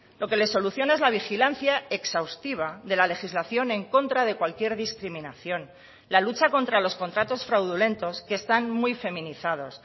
lo que les soluciona es la vigilancia exhaustiva de la legislación en contra de cualquier discriminación la lucha contra los contratos fraudulentos que están muy feminizados